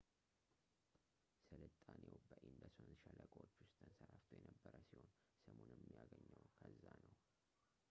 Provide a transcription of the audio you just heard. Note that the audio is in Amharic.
ስልጣኔው በኢንደስ ወንዝ ሸለቆዎች ውስጥ ተንሰራፍቶ የነበረ ሲሆን ስሙንም ያገኘው ከዚያው ነው